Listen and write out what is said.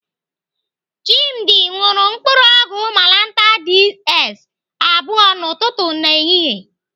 Chimdi ṅụrụ mkpụrụ ọgwụ malantar DS abụọ n'ụtụtụ na ehihie.